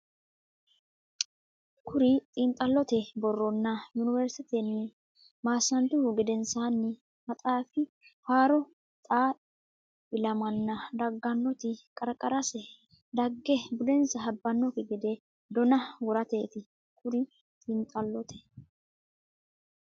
Kuri xiinxallote borronna Yuniversitetenni maasantuhu gedensaanni maxaafi horo xaa ilamanna daggannoti qarqarase dagge budensa habbannokki gede dona worateeti Kuri xiinxallote.